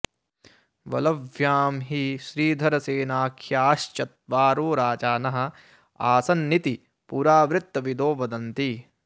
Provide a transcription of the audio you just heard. वलभ्यां हि श्रीधरसेनारख्या श्चत्वारो राजानः आसन्निति पुरावृत्तविदो वदन्ति